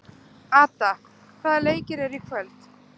Ada, hvaða leikir eru í kvöld?